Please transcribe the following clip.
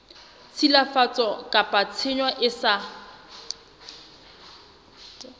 tshilafatso kapa tshenyo e sa